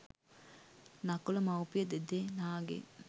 නකුල මවුපිය දෙදෙනාගෙන්